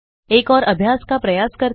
एक और अभ्यास का प्रयास करते हैं